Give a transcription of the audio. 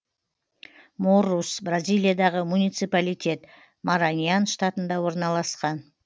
моррус бразилиядағы муниципалитет мараньян штатында орналасқан